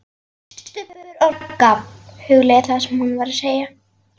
STUBBUR OG RAGGA, hugleiðir það sem hún var að segja.